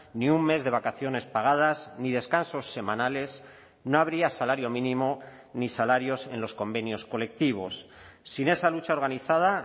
ni un mes de vacaciones pagadas ni descansos semanales no habría salario mínimo ni salarios en los convenios colectivos sin esa lucha organizada